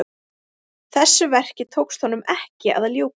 Þessu verki tókst honum ekki að ljúka.